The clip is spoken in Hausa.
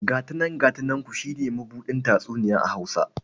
Gata nan gata nanku shi ne mabuɗin tatsuniya a Hausa..